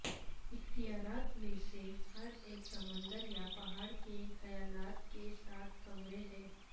اختیارات میں سے ہر ایک سمندر یا پہاڑ کے خیالات کے ساتھ کمرے ہیں